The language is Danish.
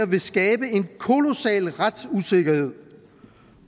vil skabe en kolossal retsusikkerhed